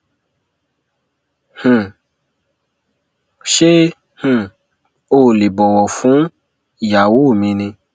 ṣé um o ò lè bọwọ fún ìyàwó mi ni